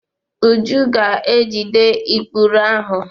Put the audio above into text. Uju ga-ejide ikpuru ahụ.